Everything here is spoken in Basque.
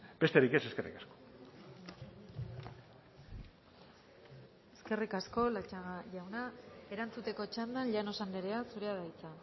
besterik ez eskerrik asko eskerrik asko latxaga jauna erantzuteko txandan llanos andrea zurea da hitza